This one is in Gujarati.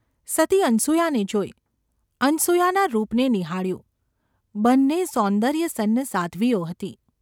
સતી અનસૂયાને જોઈ, અનસૂયાના રૂપને નિહાળ્યું, બન્ને સૌન્દર્યસંન્ન સાધ્વીઓ હતી.